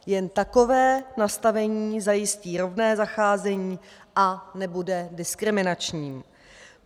Jen takové nastavení zajistí rovné zacházení a nebude diskriminační.